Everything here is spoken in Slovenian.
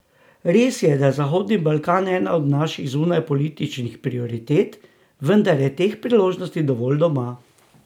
Res je, da je Zahodni Balkan ena od naših zunanjepolitičnih prioritet, vendar je teh priložnosti dovolj doma.